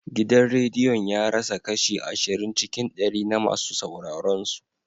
Gidan rediyon ya rasa kashi ashirin cikin ɗari na masu sauraron su.